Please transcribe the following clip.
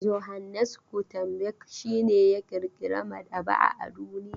Johannes Gutenberg shi ne ya ƙirƙira maɗaba'a a duniya.